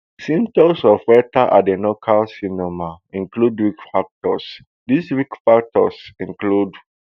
symptoms of rectal adenocarcinoma include risk factors di risk factors include